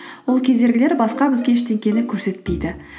ол кедергілер басқа бізге ештеңені көрсетпейді